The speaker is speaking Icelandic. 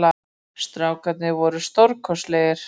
Strákarnir voru stórkostlegir